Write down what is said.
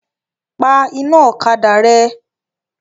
Pa iná ọ̀kadà rẹ!